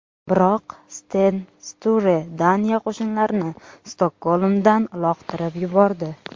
Biroq Sten Sture Daniya qo‘shinlarini Stokgolmdan uloqtirib yubordi.